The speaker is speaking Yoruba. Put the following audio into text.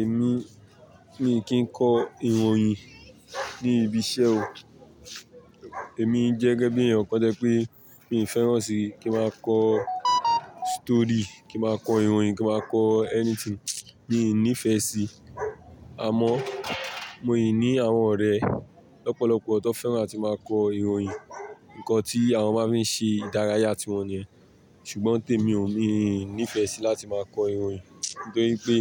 Èmi, mi kì í kọ ìròyìn ní ibi iṣẹ́ o. Èmi jẹ́gẹ́ bí ẹ̀yàn kọ́ jẹ́ pé mi ò fẹ́ràn sí kí máa kọ story, kí máa kọ ìròyìn, kí máa kọ anything mi ò nífẹ̀ẹ́ sí. Àmọ́ mo rí i ní àwọn ọ̀rẹ́ lọ́pọ̀lọpọ̀ tó fẹ́ràn láti máa kọ ìròyìn, ǹkan tí àwọn máa ń fi ṣe ìdárayá ti wọn nìyẹn. Ṣùgbọ́n tèmi ò ní nífẹ̀ẹ́ sí láti máa kọ ìròyìn nítorí pé